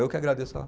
Eu que agradeço, ó.